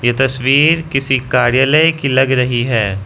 ये तस्वीर किसी कार्यालय की लग रही है।